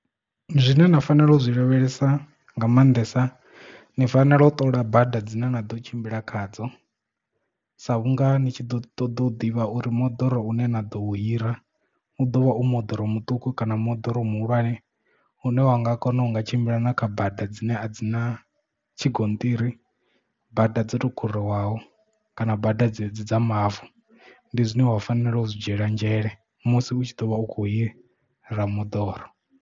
Zwine na fanela u zwi lavhelesa nga maanḓesa ni fanela u ṱola bada dzine na ḓo tshimbila khadzo sa vhunga ni tshi ḓo ṱoḓa u ḓivha uri moḓoro une na ḓo hira u ḓo vha u moḓoro muṱuku kana moḓoro muhulwane une wa nga kona u nga tshimbila na kha bada dzine a dzi na tshigonṱiri bada dzo to khuriwaho kana bada dzedzi dza mavu ndi zwine wa fanela u zwi dzhiela nzhele musi u tshi ḓo vha u kho hira moḓoro.